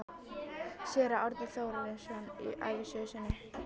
Séra Árni Þórarinsson í ævisögu sinni